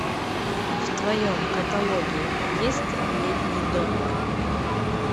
в твоем каталоге есть летний домик